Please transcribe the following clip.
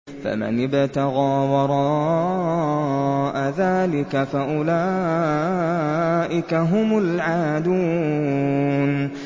فَمَنِ ابْتَغَىٰ وَرَاءَ ذَٰلِكَ فَأُولَٰئِكَ هُمُ الْعَادُونَ